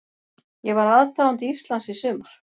Ég var aðdáandi Íslands í sumar.